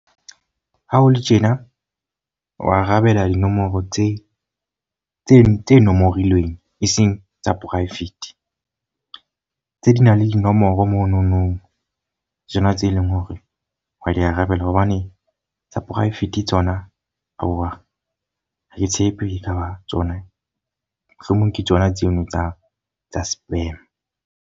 Ha ho le tjena wa arabela dinomoro tse tse tse nomorilweng e seng tsa private. Tse nang le dinomoro monono tsona tse leng hore wa di arabela. Hobane tsa private tsona aowa ha ke tshepe e ka ba tsona. Mohlomong ke tsona tseno tsa tsa spam.